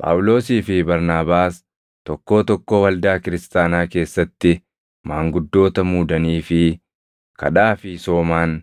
Phaawulosii fi Barnaabaas tokkoo tokkoo waldaa kiristaanaa keessatti maanguddoota muudaniifii kadhaa fi soomaan